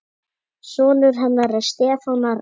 Sonur hennar er Stefán Arnar.